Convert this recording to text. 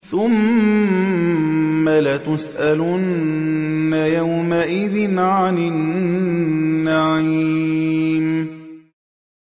ثُمَّ لَتُسْأَلُنَّ يَوْمَئِذٍ عَنِ النَّعِيمِ